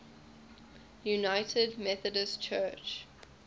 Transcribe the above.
united methodist church